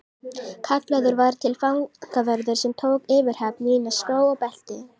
Kallaður var til fangavörður sem tók yfirhöfn mína, skó og belti.